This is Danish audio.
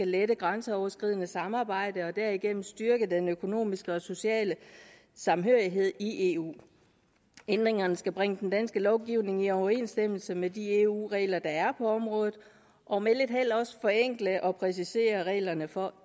lette grænseoverskridende samarbejde og derigennem styrke den økonomiske og sociale samhørighed i eu ændringerne skal bringe den danske lovgivning i overensstemmelse med de eu regler der er på området og med lidt held også forenkle og præcisere reglerne for